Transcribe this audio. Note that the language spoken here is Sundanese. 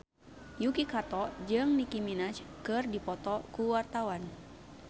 Yuki Kato jeung Nicky Minaj keur dipoto ku wartawan